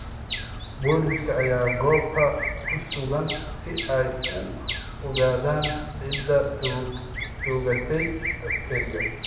Booliska ayaa goobta ku sugan si ay u ogaadaan cidda toogatay askariga.